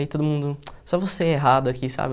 Aí todo mundo, só você é errado aqui, sabe?